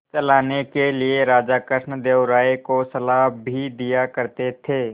चलाने के लिए राजा कृष्णदेव राय को सलाह भी दिया करते थे